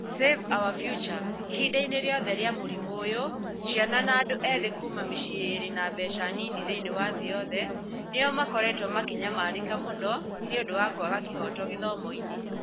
Save Our Future - ihinda-inĩ rĩothe rĩa mũrimũ ũyũ, ciana na andũ ethĩ kuuma mĩciĩ ĩrĩ na mbeca nini thĩinĩ wa thĩ yothe nĩo makoretwo makĩnyamarĩka mũno nĩ ũndũ wa kwaga kĩhooto gĩthomo.